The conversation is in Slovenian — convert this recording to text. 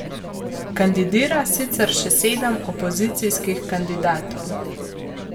Kandidira sicer še sedem opozicijskih kandidatov.